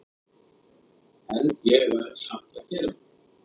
En ég verð samt að gera það.